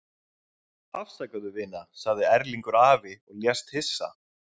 Afsakaðu, vina sagði Erlingur afi og lést hissa.